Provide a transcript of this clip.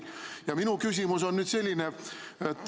Ja minu küsimus on selline.